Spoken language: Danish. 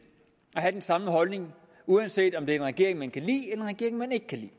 at have den samme holdning uanset om det er en regering man kan lide en regering man ikke kan